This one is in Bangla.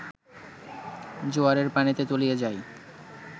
জোয়ারের পানিতে তলিয়ে যায়